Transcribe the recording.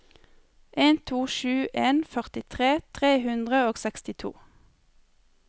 en to sju en førtitre tre hundre og sekstito